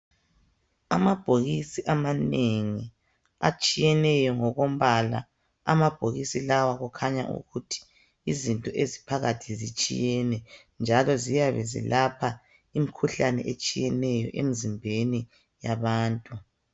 Amabokisi amanengi atshiyeneyo ngokombala amabokisi lawa kukhanya ukuthi izinto eziphakathi zitshiyene njalo ziyabe zilapha imikhuhlane atshiyeneyo Emizimbeni yabantu